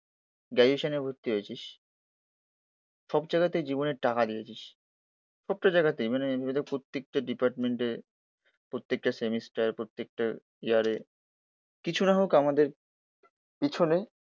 গ্রাজুয়েশনে ভর্তি হয়েছিস সবজায়গাতেই জীবনে টাকা দিয়েছিস, প্রত্যেক জায়গাতেই মানে এটা প্রত্যেকটা ডিপার্টমেন্টে, প্রত্যেকটা সেমিস্টার, প্রত্যেকটা ইয়ারে কিছু নাহোক আমাদের পিছনে